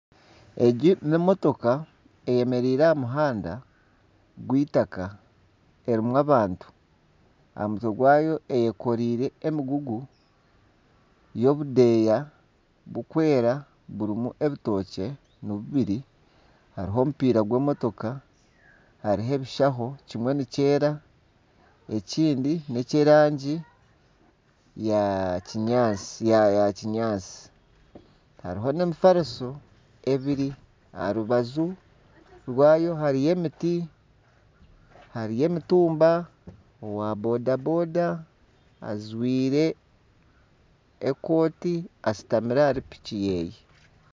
Egi n'emotoka eyemereire aha muhanda gw'eitaka erimu abantu. Aha mutwe gwayo eyekoreire emigugu y'obudeeya burikwera burimu ebitookye ni bubiri hariho omupiira gw'emotoka hariho ebishaho kimwe nikyeera ekindi neky'erangi ya kinyaatsi hariho n'emifariso ebiri , aha rubaju rwayo hariyo emiti, emitumba , owa boda boda ajwire ekooti ashutamire ahari piki yeye.